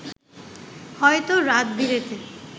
হয়তো রাত-বিরেতে